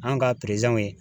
An' ka peresanw ye